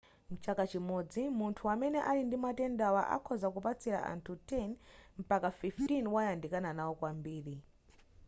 mchaka chimodzi munthu amene ali ndi matendawa akhoza kupatsila anthu 10 mpaka 15 womwe wayandikana nawo kwambiri